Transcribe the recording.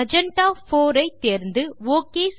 magenta 4 ஐ தேர்ந்து okay